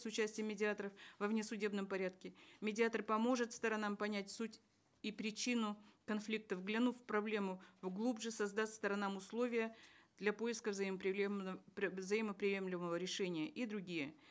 с участием медиаторов во внесудебном порядке медиатор поможет сторонам понять суть и причину конфликтов глянув в проблему глубже создаст сторонам условия для поиска взаимоприемлемого решения и другие